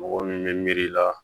Mɔgɔ min bɛ miiri la